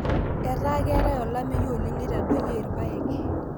etaa keetae olameyu oleng neitadoyie irpaek.